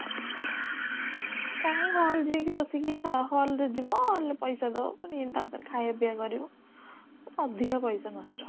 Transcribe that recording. କାଇଁ hall ଯାଇକି ବସିକି ସ hall ରେ ଯିବ ପଇସା ଦବ ପୁଣି ତା ଧେରେ ଖାଇଆ ପିଇଆ କରିବ ଅଧିକ ପଇସା ନଷ୍ଟ